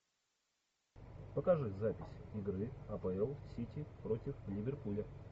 покажи запись игры апл сити против ливерпуля